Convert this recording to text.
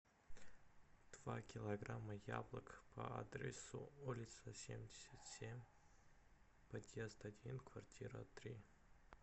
два килограмма яблок по адресу улица семьдесят семь подъезд один квартира три